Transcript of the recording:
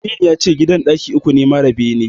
Aminu yace gidan ɗaki uku ne mara bene.